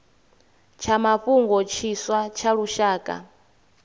tsha mafhungo tshiswa tsha lushaka